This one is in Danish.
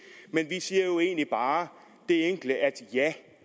og egentlig bare det enkle at ja